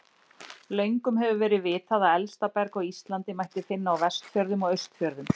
Löngum hefur verið vitað að elsta berg á Íslandi mætti finna á Vestfjörðum og Austfjörðum.